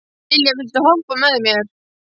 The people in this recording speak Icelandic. Dilja, viltu hoppa með mér?